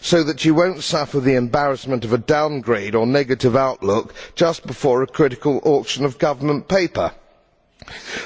This is so that you will not suffer the embarrassment of a downgrade or negative outlook just before a critical auction of government paper.